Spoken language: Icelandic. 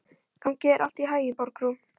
Gangi þér allt í haginn, Borgrún.